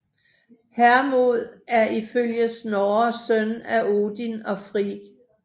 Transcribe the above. Hermod er ifølge Snorre søn af Odin og Frigg